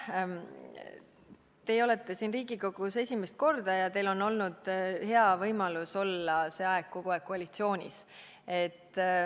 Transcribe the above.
Teie olete siin Riigikogus esimest korda ja teil on olnud hea võimalus olla kogu see aeg koalitsioonis.